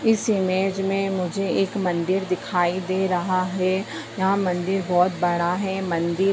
इस इमेज में मुझे एक मंदिर दिखाई दे रहा है यहाँ मंदिर बहुत बड़ा है मंदिर --